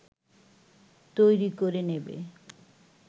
তৈরি করে নেবে